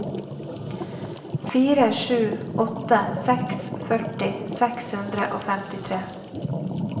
fire sju åtte seks førti seks hundre og femtitre